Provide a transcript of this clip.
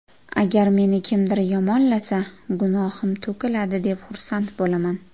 Agar meni kimdir yomonlasa, gunohim to‘kiladi, deb xursand bo‘laman.